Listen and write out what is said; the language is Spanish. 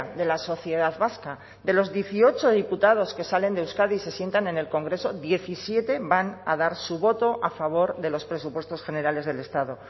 de la sociedad vasca de los dieciocho diputados que salen de euskadi se sientan en el congreso diecisiete van a dar su voto a favor de los presupuestos generales del estado